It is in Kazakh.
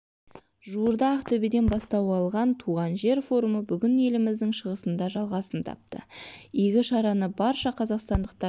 жуырда ақтөбеден бастау алған туған жер форумы бүгін еліміздің шығысында жалғасын тапты игі шараны барша қазақстандықтар